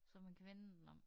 Så man kan vende den om